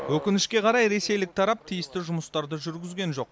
өкінішке қарай ресейлік тарап тиісті жұмыстарды жүргізген жоқ